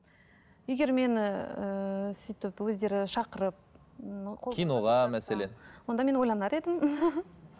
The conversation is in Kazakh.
егер мені ііі сөйтіп өздері шақырып онда мен ойланар едім